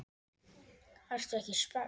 Ertu ekki spennt?